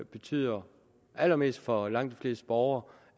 betyder allermest for langt de fleste borgere